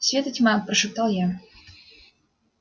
свет и тьма прошептал я